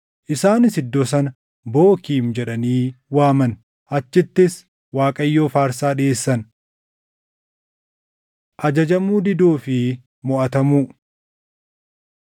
isaanis iddoo sana Bookiim jedhanii waaman. Achittis Waaqayyoof aarsaa dhiʼeessan. Ajajamuu Diduu fi Moʼatamuu 2:6‑9 kwf – Iya 24:29‑31